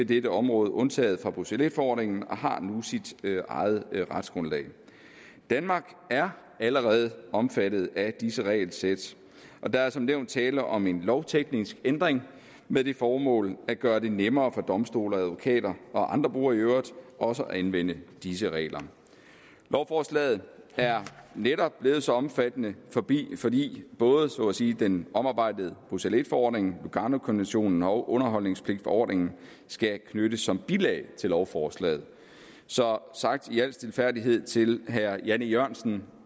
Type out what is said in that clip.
dette område undtaget fra bruxelles i forordningen og har nu sit eget retsgrundlag danmark er allerede omfattet af disse regelsæt og der er som nævnt tale om en lovteknisk ændring med det formål at gøre det nemmere for domstole og advokater og andre brugere i øvrigt også at anvende disse regler lovforslaget er netop blevet så omfattende fordi både så at sige den omarbejdede bruxelles i forordning luganokonventionen og underholdspligtforordningen skal knyttes som bilag til lovforslaget så sagt i al stilfærdighed til herre jan e jørgensen